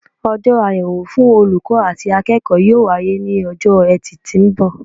Ojó àyèwò fun olùkó àti akéèkó yóò wáyé ní ojó etì tó n bò